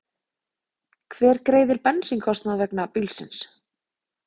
Hver greiðir bensínkostnað vegna bílsins?